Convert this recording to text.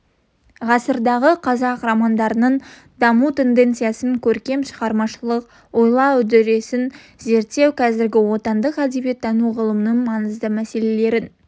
ғасырдағы қазақ романдарының даму тенденциясын көркем шығармашылық ойлау үдерісін зерттеу қазіргі отандық әдебиеттану ғылымының маңызды мәселелерінің